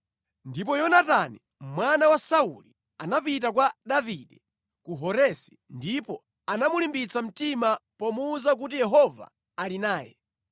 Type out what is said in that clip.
Ndipo Yonatani mwana wa Sauli anapita kwa Davide ku Horesi ndipo anamulimbitsa mtima pomuwuza kuti Yehova ali naye.